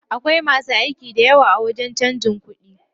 Akwai masu aiki dayawa a wajen canjin kuɗi.